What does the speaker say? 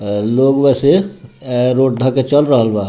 अ लोग वैसे अ रोड धेए के चल रहल बा।